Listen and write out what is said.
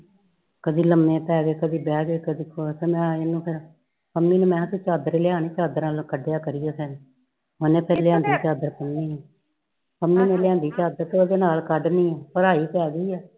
ਕਦੇ ਲੰਮੇ ਪੈ ਗਏ ਕਦੇ ਬੈ ਗਏ ਕਦੇ ਪੰਮੀ ਨੂ ਕਯਾ ਚਾਦਰ ਲਿਆ, ਚਾਦਰ ਕਢਿਆ ਕਰੀਏ ਓਨੇ ਫੇਰ ਲਿਆਂਦੀ ਚਾਦਰ ਪੰਮੀ ਨੇ ਲ੍ਯਾਈ ਚਾਦਰ ਫੇਰ ਓਦੇ ਨਾਲ ਕੱਢਣੀ ਆ ਪੜਾਈ ਕਰ ਰਹੀ ਆ